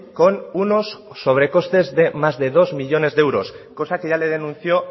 con unos sobre costes de más de dos millónes de euros cosa que ya le denunció